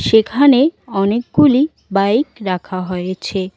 সেখানে অনেকগুলি বাইক রাখা হয়েছে।